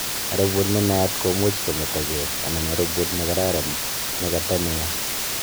Arubut nenaat komuuch kometagee anan arubut nekararan nekata neyaa